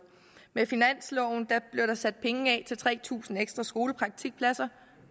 med finansloven blev der sat penge af til tre tusind ekstra skolepraktikpladser